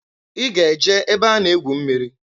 I g'e je ebe a na egwu mmiri!